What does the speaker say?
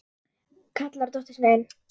Kallar á dóttur sína inn.